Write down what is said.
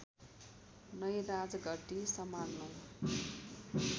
नै राजगद्दी सम्हाल्नु